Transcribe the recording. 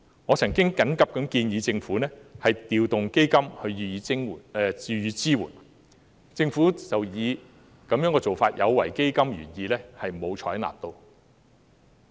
我曾經緊急建議政府調動基金予以支援，但政府卻以這種做法有違基金原意而沒有採納。